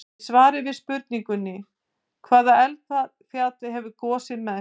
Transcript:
Í svari við spurningunni: Hvaða eldfjall hefur gosið mest?